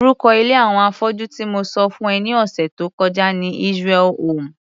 rúko ilé àwọn afọ́jú tí mo sọ fún ẹ ní ọ̀sẹ̀ tó kọjá ni Israel home.